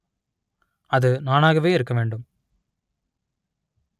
அது நானாகவே இருக்க வேண்டும்